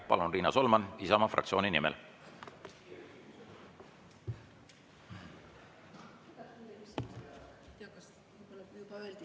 Palun, Riina Solman, Isamaa fraktsiooni nimel!